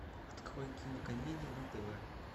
открой кинокомедия на тв